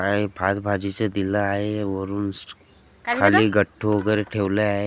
आहे भात भाजीचं दिलं आहे वरून खाली गट्टू वगैरे ठेवले आहे.